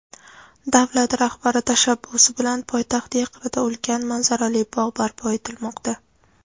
Davlat rahbari tashabbusi bilan poytaxt yaqinida ulkan manzarali bog‘ barpo etilmoqda.